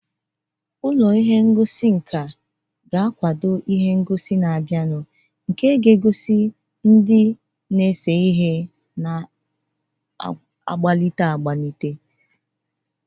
Ụlọ ihe ngosi nka ga-akwado ihe ngosi na-abịanụ nke na-egosi ndị na-ese ihe na-apụta.